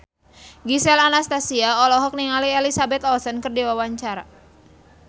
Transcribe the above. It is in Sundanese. Gisel Anastasia olohok ningali Elizabeth Olsen keur diwawancara